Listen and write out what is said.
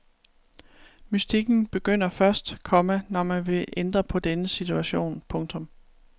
Mystikken begynder først, komma når man vil ændre på denne situation. punktum